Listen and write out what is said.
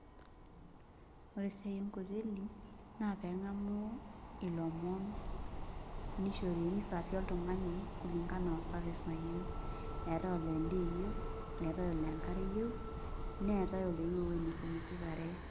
Ore esiai enkoteli naa pee eng'amu ilomon niservi oltung'ani kulingana o service nayieu eetai olaa endaa eyieu eetai olaa endaa eyieu neetai oloyieu ewuei nipumusikare.